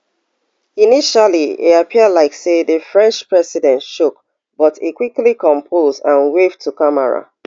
initially e appear like say di french president shock but e quickly compose and wave to camera